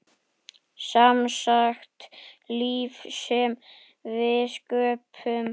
Semsagt líf sem við sköpum.